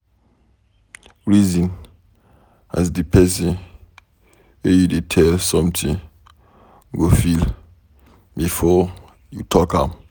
Reason as de pesin wey you dey tell something go feel before you talk am.